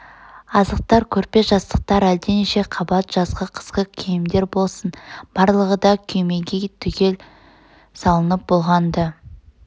азықтар көрпе-жастықтар әлденеше қабат жазғы қысқы киімдер болсын барлығы да күймеге түгел салынып болған-ды